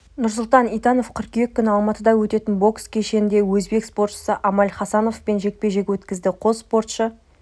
нұрсұлтан итанов қыркүйек күні алматыда өтетін бокс кешінде өзбек спортшысы амаль хасановпен жекпе-жек өткізеді қос спортшы